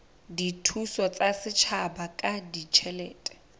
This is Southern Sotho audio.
dithuso tsa setjhaba ka ditjhelete